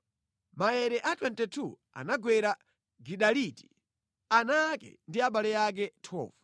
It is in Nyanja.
Maere a 22 anagwera Gidaliti, ana ake ndi abale ake. 12